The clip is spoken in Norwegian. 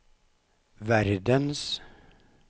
verdens